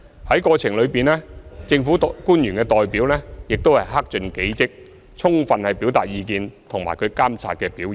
在過程中，政府的代表亦克盡己職，充分表達意見和監察表現。